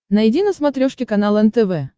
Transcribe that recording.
найди на смотрешке канал нтв